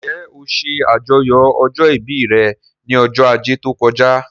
Njẹ́ ó ṣe àjọyọ̀ ọjọ́ ìbí rẹ̀ ní ọjọ́ ajé tó kọjá?